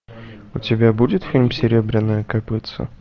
у тебя будет фильм серебряное копытце